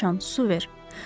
Göy siçan, su ver.